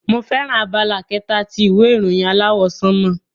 Emi fẹràn abala kẹta ti ìwé ìròyìn aláwọ̀ sánmọ̀.